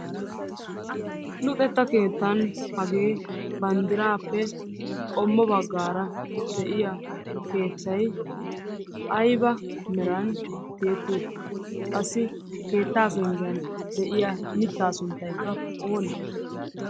Luxettaa kettanni hage bandirappe qommo bagara de'iyaa kettay ayba merani tiyetiuttidee, qassi kettaa pengiyan deiya mittaa sunttay onnee?